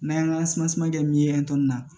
N'an y'an ka min ye na